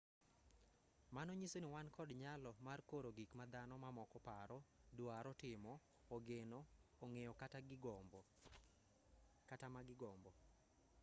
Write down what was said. mano nyiso ni wan kod nyalo mar koro gik ma dhano mamoko paro drwaro timo ogeno ong'eyo kata ma gigombo